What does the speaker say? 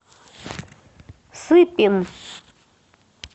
сыпин